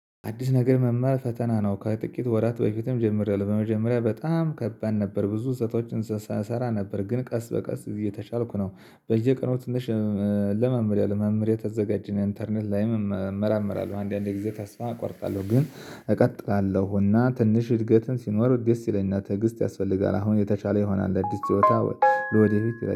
አዲስ ነገር መማር ፈተና ነው ከጥቂት ወራት በፊትም ጀምሬያለሁ። በመጀመሪያ በጣም ከባድ ነበር ብዙ ስተቶችን እሰራ እሰራ ነበር ግን ቀስ በቀስ እየተሻልኩ ነው። በየቀኑ ትንሽ እንለማመደው በመምህር የተዘጋጀኝ ኢንተርኔት ላይም እመራምራለሁ አንዳንዴ ጊዜ ተስፋ አቋርጣለሁ ግን እቀጥላለሁና ትንሽ እድገትን ሲኖር ደስ ይለኛል። ትዕግስት ያስፈልጋል አሁን የተሻለ ይሆናል። አዲስ ችሎታ ለወደፊት